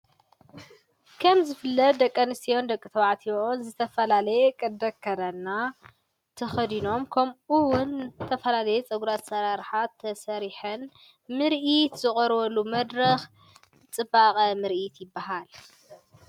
ከም ዝፍለጥ ደቂኣነስትዮን ደቂ ተባዓቲዮን ዘተፈላለየ ቕደ አከደና ትኸዲኖም ከምኡውን ተፈላለየ ጸጕራ ሠራርኃት ተሰሪሕን ምርኢት ዝቖርወሉ መድረኽ ጥባቐ ምርኢት ይበሃል።